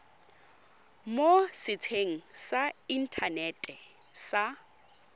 mo setsheng sa inthanete sa